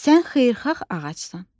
Sən xeyirxax ağacsan.